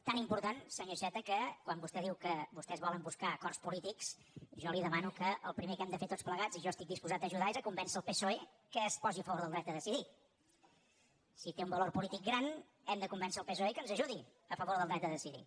tan important senyor iceta que quan vostè diu que vostès volen buscar acords polítics jo li demano que el primer que hem de fer tots plegats i jo estic disposat a ajudar és convèncer el psoe que es posi a favor del dret a decidir si té un valor polític gran hem de convèncer el psoe que ens ajudi a favor del dret a decidir